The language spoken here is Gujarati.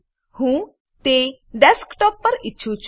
હું તે ડેસ્કટોપ ડેસ્કટોપ પર ઈચ્છું છું